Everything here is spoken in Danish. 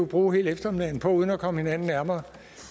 bruge hele eftermiddagen på uden at komme hinanden nærmere